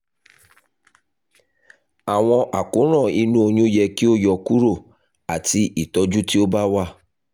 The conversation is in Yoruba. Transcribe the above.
awọn àkóràn inu oyun yẹ ki o yọkuro ati itọju ti o ba wa